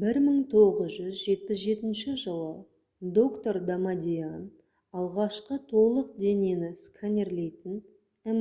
1977 жылы доктор дамадиан алғашқы толық денені сканерлейтін